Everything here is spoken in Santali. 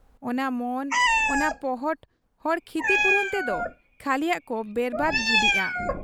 ᱚᱱᱟ ᱢᱚᱱ ᱚᱱᱟ ᱯᱚᱦᱚᱴ ᱦᱚᱲ ᱠᱷᱤᱛᱤᱯᱩᱨᱚᱱ ᱛᱮᱫᱚ ᱠᱷᱟᱹᱞᱤᱭᱟᱜ ᱠᱚ ᱵᱮᱨᱵᱟᱫᱽ ᱜᱤᱰᱤᱜ ᱟ ᱾